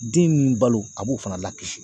Den balo a b'o fana lakisi.